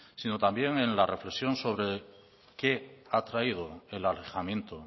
sino también en la reflexión sobre qué ha traído el alejamiento